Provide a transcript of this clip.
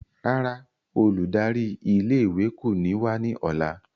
Rárá, óludari ìlé-ìwé ko ni wa ni ọla.